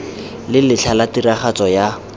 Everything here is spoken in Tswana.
le letlha la tiragatso ya